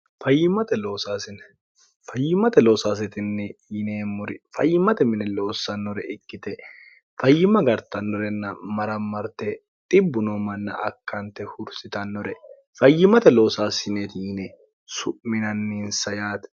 fayyimate loosaasitinni yineemmori fayyimmate mine loossannore ikkite fayyima gartannorenna marammarte dibbu noo manna akkante hursitannore fayyimate loosaasineeti yine su'minanninsayaate